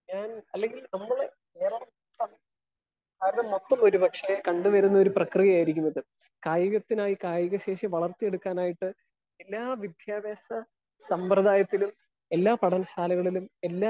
Speaker 1 ഞാൻ അല്ലെങ്കിൽ നമ്മളെ കേരളം ഇപ്പൊ മൊത്തം ഒരു പക്ഷെ കണ്ട് വരുന്ന ഒരു പ്രക്രിയ ആയിരിക്കും ഇത്. കായികത്തിനായി കായിക ശേഷി വളർത്തി എടുക്കാനായിട്ട് എല്ലാ വിദ്യാഭ്യാസ സമ്പ്രദായത്തിലും എല്ലാ പഠന ശാലകളിലും എല്ലാ